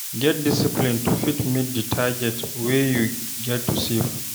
Get discipline to fit meet di target wey you get to save